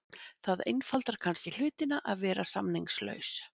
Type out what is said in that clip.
Það einfaldar kannski hlutina að vera samningslaus.